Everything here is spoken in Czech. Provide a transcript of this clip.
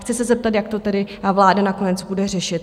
Chci se zeptat, jak to tedy vláda nakonec bude řešit.